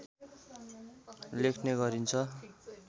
लेख्ने गरिन्छ